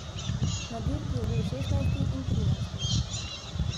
Na dirki je bil šestnajsti in trinajsti.